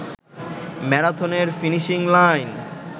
ম্যারাথনের finishing line